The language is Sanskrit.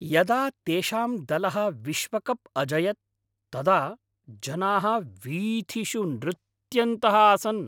यदा तेषां दलः विश्वकप् अजयत् तदा जनाः वीथिषु नृत्यन्तः आसन्।